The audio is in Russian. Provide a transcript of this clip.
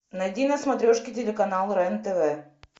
найди на смотрешке телеканал рен тв